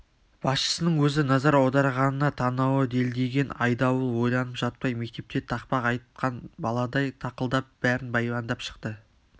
басшысының өзі назар аударғанына танауы делдиген айдауыл ойланып жатпай мектепте тақпақ айтқан баладай тақылдап бәрін баяндап шықты